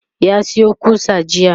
ya Sayo ƙusa jiya